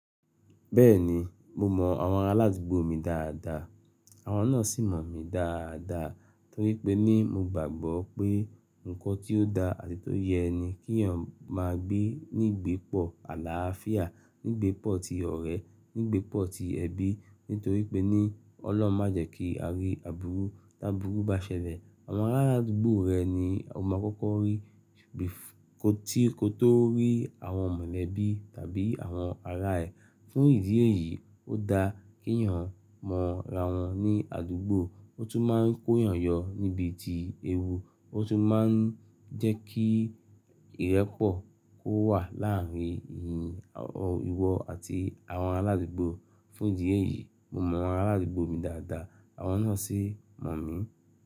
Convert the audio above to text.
Bẹ́ẹ̀ni, mo mọ àwọn aládùúgbò mi dáadáa, àwọn náà sì mọ̀ mí dáadáa torí pé ní mo gbàgbọ́ pé nǹkan tí ó da àti tó yẹ ni kí èèyàn máa gbé nígbepọ̀ àlàáfíà, nígbepọ̀ ti ọ̀rẹ́, nígbepọ̀ ti ẹbí. Nítorí pé ní ọlọ́hun ma jẹ́ kí a rí àbúrú, tí àbúrú bá ṣẹlẹ̀, àwọn aládùúgbò rẹ ni o máa kọ́kọ́ rí kí ò tó rí àwọn mọ̀lẹ́bí tàbí àwọn ará ẹ. Fún ìdí èyí, ó da kí èèyàn mọ ra wọn ní àdúgbò, ó tún máa ń kó èèyàn yọ níbi ti ewu, ó tún máa ń jẹ́ kí ìrẹ́pọ̀ kó wà láàárín ìwọ àti àwọn aládùúgbò. Fún ìdí èyí, mo mọ àwọn aládùúgbò mi dáadáa, àwọn náà sì mọ̀ mí.